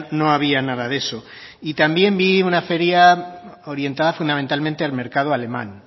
no había nada de eso y también vi una feria orientada fundamentalmente al mercado alemán